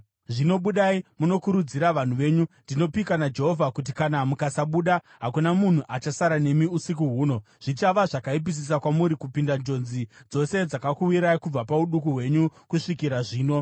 Zvino budai munokurudzira vanhu venyu. Ndinopika naJehovha kuti kana mukasabuda, hakuna munhu achasara nemi usiku huno. Zvichava zvakaipisisa kwamuri kupinda njodzi dzose dzakakuwirai kubva pauduku hwenyu kusvikira zvino.”